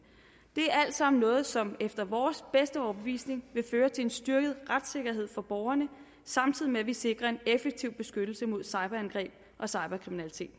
det er alt sammen noget som efter vores bedste overbevisning vil føre til en styrket retssikkerhed for borgerne samtidig med at vi sikrer en effektiv beskyttelse mod cyberangreb og cyberkriminalitet